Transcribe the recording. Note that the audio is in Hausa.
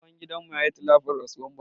Tsohon gidan mu ya yi tilafin rasuwar buhari